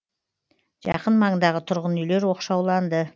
жақын маңдағы тұрғын үйлер оқшауланды